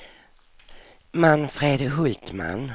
Manfred Hultman